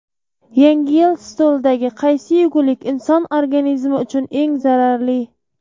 Yangi yil stolidagi qaysi yegulik inson organizmi uchun eng zararli?.